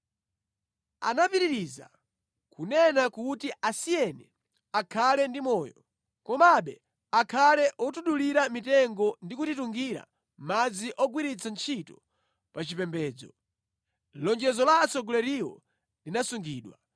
Anapitiriza kunena kuti “Asiyeni akhale ndi moyo, komabe akhale otidulira mitengo ndi kutitungira madzi ogwiritsa ntchito pa chipembedzo.” Lonjezo la atsogoleriwo linasungidwa.